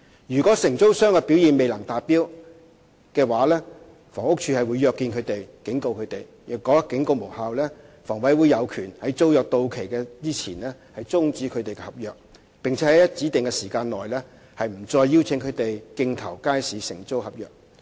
如果承租商的表現未能達標，房屋署會約見及警告他們；如果警告無效，房委會有權在租約到期前終止其合約，並且在指定期間內不再邀請他們競投街市承租合約。